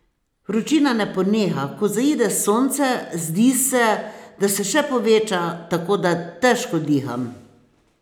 Vročina ne poneha, ko zaide sonce, zdi se, da se še poveča, tako da težko diham.